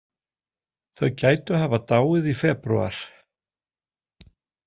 Þau gætu hafa dáið í febrúar.